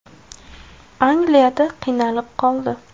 Angliyada qiynalib qoldi.